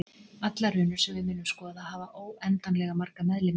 Allar runur sem við munum skoða hafa óendanlega marga meðlimi.